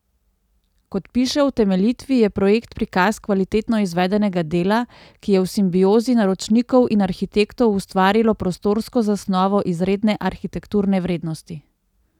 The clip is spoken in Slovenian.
Kot piše v utemeljitvi, je projekt prikaz kvalitetno izvedenega dela, ki je v simbiozi naročnikov in arhitektov ustvarilo prostorsko zasnovo izredne arhitekturne vrednosti.